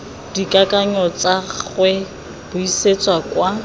dikakanyo tsa gagwe buisetsa kwa